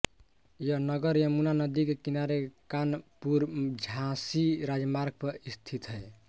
यह नगर यमुना नदी के किनारे कानपुरझाँसी राजमार्ग पर स्थित है